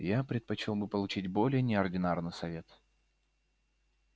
я предпочёл бы получить более неординарный совет